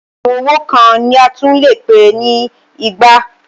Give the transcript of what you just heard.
Okùn owó kan ni a tún lè pè ní igba.